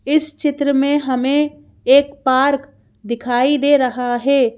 इस चित्र में हमें एक पार्क दिखाई दे रहा है।